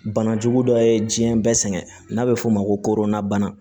Bana jugu dɔ ye jiɲɛ bɛɛ sɛgɛn n'a bɛ f'o ma ko nabana